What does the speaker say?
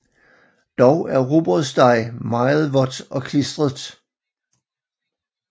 Dog er rugbrødsdej meget vådt og klistret